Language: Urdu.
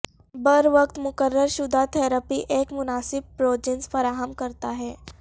بروقت مقرر شدہ تھراپی ایک مناسب پروجنس فراہم کرتا ہے